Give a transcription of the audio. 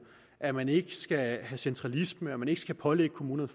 at man ikke skal have centralisme og at man ikke skal pålægge kommunerne